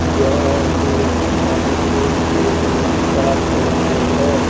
यह एक मार्केट के बीच का फोटो है।